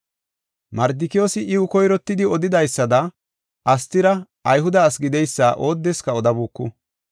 Mardikiyoosi iw koyrottidi odidaysada, Astira Ayhude asi gideysa oodeska odabuuku.